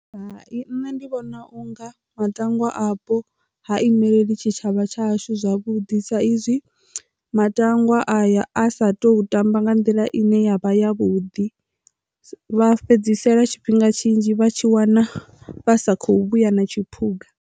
Hai, nṋe ndi vhona unga matangwa apo ha imeleli tshitshavha tshashu zwavhuḓi sa izwi matangwa aya a sa tu tamba nga nḓila ine ya vha ya vhuḓi. Vha fhedzisela tshifhinga tshinzhi vha tshi wana vha sa khou vhuya na tshiphuga.